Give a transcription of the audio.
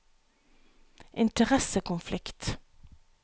interessekonflikt